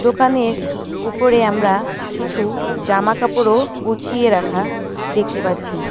দোকানের উপরে আমরা কিছু জামাকাপড়ও গুছিয়ে রাখা দেখতে পাচ্ছি।